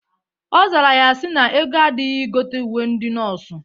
Ọ zara ya sị na ego adịghị igote uwe ndị nọọsụ.